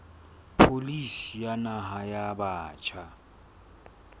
pholisi ya naha ya batjha